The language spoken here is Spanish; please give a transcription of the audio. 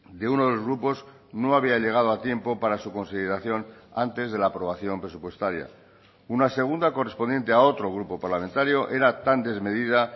de uno de los grupos no había llegado a tiempo para su consideración antes de la aprobación presupuestaria una segunda correspondiente a otro grupo parlamentario era tan desmedida